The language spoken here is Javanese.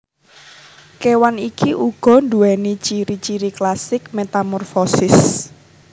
Kewan iki uga duwéni ciri ciri klasik metamorfosis